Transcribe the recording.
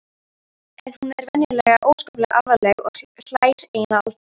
En hún er venjulega óskaplega alvarleg og hlær eiginlega aldrei.